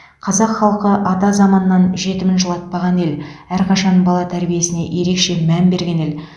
қазақ халқы ата заманнан жетімін жылатпаған ел әрқашан бала тәрбиесіне ерекше мән берген ел